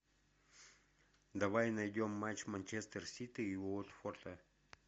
давай найдем матч манчестер сити и уотфорда